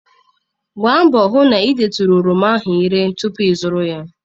Gbaa mbọ hụ na ị detụrụ oroma ahụ ire tupu ịzụrụ ya.